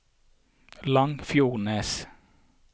Langfjordnes